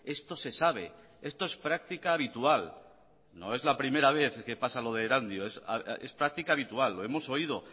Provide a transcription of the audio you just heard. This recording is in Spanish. esto se sabe esto es práctica habitual no es la primera vez que pasa lo de erandio es práctica habitual lo hemos oído